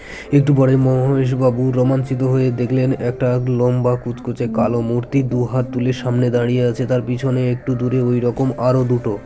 একটু পরে মহেশ বাবু রোমাঞ্চিত হয়ে দেখলেন একটা লম্বা কুচকুচে কালো মূর্তি দুহাত তুলে সামনে দাঁড়িয়ে আছে তার পিছনে ঐরকম আরও দুটো